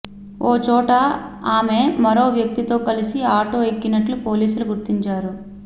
ఓ చోట ఆమె మరో వ్యక్తితో కలిసి ఆటో ఎక్కినట్లు పోలీసులు గుర్తించారు